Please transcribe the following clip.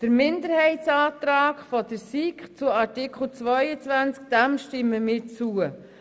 Dem Minderheitsantrag der SiK zu Artikel 22 stimmen wir zu.